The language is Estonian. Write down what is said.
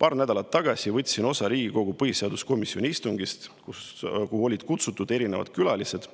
Paar nädalat tagasi võtsin osa Riigikogu põhiseaduskomisjoni istungist, kuhu olid kutsutud külalised,